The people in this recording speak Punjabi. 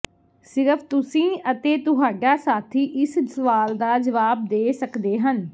ਸਿਰਫ ਤੁਸੀਂ ਅਤੇ ਤੁਹਾਡਾ ਸਾਥੀ ਇਸ ਸਵਾਲ ਦਾ ਜਵਾਬ ਦੇ ਸਕਦੇ ਹਨ